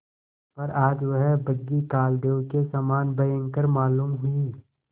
पर आज वह बग्घी कालदेव के समान भयंकर मालूम हुई